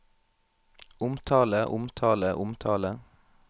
omtale omtale omtale